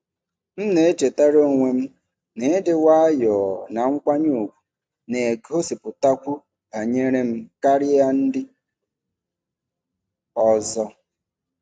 M na-echetara onwe m na ịdị nwayọọ na nkwanye ùgwù na-egosipụtakwu banyere m karịa ndị ọzọ.